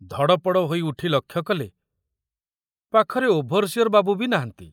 ଧଡ଼ପଡ଼ ହୋଇ ଉଠି ଲକ୍ଷ୍ୟ କଲେ ପାଖରେ ଓଭରସିଅର ବାବୁ ବି ନାହାନ୍ତି।